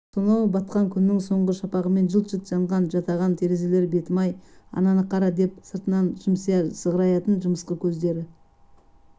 сонау батқан күннің соңғы шапағымен жылт-жылт жанған жатаған терезелер бетім-ай ананы қара деп сыртынан жымсия сығыраятын жымысқы көздері